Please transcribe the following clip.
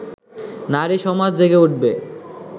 নারী সমাজ জেগে উঠবে